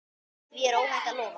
Því er óhætt að lofa.